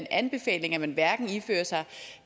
anbefaling at man hverken ifører sig en